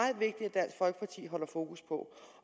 dansk folkeparti holder fokus på